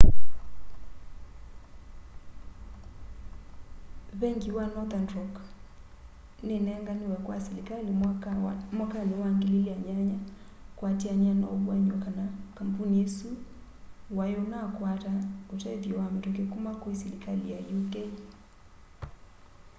vengi wa nothern rock ninenganiwe kwa silikali mwakani wa 2008 kuatiania na uvuany'o kana kampuni usu wai unakwata utethyo wa mituki kuma kwi silikali ya uk